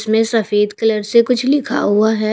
इसमें सफेद कलर से कुछ लिखा हुआ है।